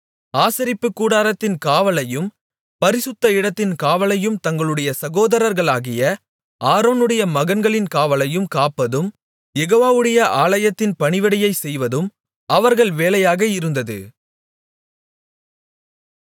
ஆசரிப்புக் கூடாரத்தின் காவலையும் பரிசுத்த இடத்தின் காவலையும் தங்களுடைய சகோதரர்களாகிய ஆரோனுடைய மகன்களின் காவலையும் காப்பதும் யெகோவாவுடைய ஆலயத்தின் பணிவிடையைச் செய்வதும் அவர்கள் வேலையாக இருந்தது